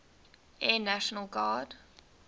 air national guard